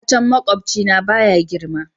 Itacen makwabcina baya girma.